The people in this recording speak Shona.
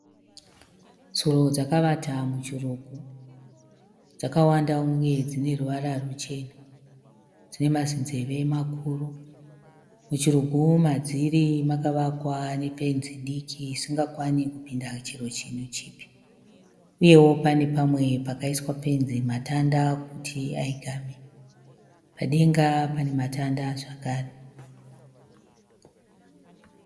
Tsuro dzakavata muchurugu. Dzakawanda uye dzine ruvara ruchena. Dzine mazinzeve makuru. Muchurugu madziri makavakwa nefenzi diki isingakwani kupinda chero chinhu chipi. Uyewo pane pamwe pakaiswa fenzi matanda kuti aigame. Padenga pane matanda zvekare.